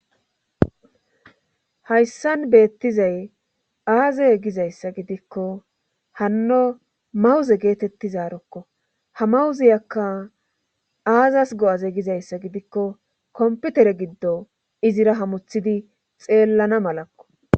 hayssan beettizay aaze gizayssa gidikko hanno mawuze geetettizaarokko ha mawuziyakka aazas go7aze gizayssa gidikko komputere giddo izira hamuthidi xeellana malakko